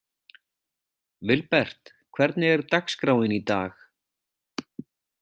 Vilbert, hvernig er dagskráin í dag?